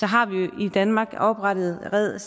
har vi jo i danmark oprettet red